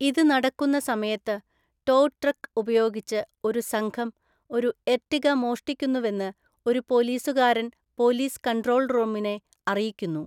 ഇത് നടക്കുന്ന സമയത്ത്, ടോ ട്രക്ക് ഉപയോഗിച്ച് ഒരു സംഘം ഒരു എർട്ടിഗ മോഷ്ടിക്കുന്നുവെന്ന് ഒരു പോലീസുകാരൻ പോലീസ് കൺട്രോൾ റൂമിനെ അറിയിക്കുന്നു.